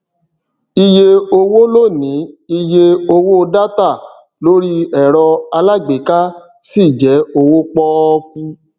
iye owó lónìí iye owó dátà lori ẹrọ alágbèéká ṣi jẹ owó pọkú